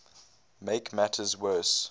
make matters worse